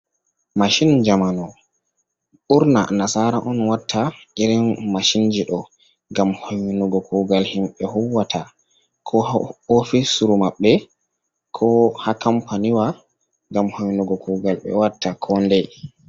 Mashin jamanu, ɓurna nasaara on watta irin mashinji ɗo ngam hoynugo kuugal himɓe huuwata koo haa oofisru maɓɓe koo haa kampaniwa ngam hoynugo kuugal ɓe watta koo nday.